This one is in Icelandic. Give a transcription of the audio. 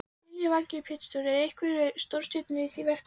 Lillý Valgerður Pétursdóttir: Eru einhverjar stórstjörnur í því verkefni?